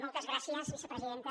moltes gràcies vicepresidenta